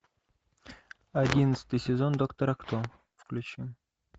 одиннадцатый сезон доктора кто включи